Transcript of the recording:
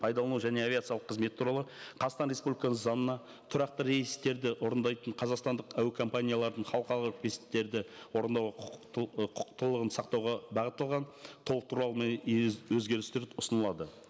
пайдалану және авиациялық қызмет туралы қазақстан республикасы заңына тұрақты рейстерді орындайтын қазақстандық әуекомпаниялардың халықаралық есептерді орындауға құқықтылығын сақтауға бағытталған толықтырулар мен өзгерістер ұсынылады